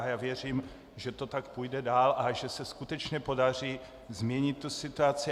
A já věřím, že to tak půjde dál a že se skutečně podaří změnit tu situaci.